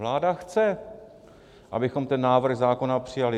Vláda chce, abychom ten návrh zákona přijali.